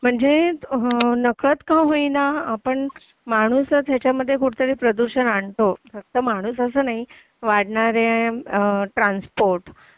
म्हणजे नकळत का होईना आपण माणूसच त्याच्यामध्ये कुठेतरी प्रदूषण आणतो फक्त माणूस असं नाही वाढणारे ट्रान्सपोर्ट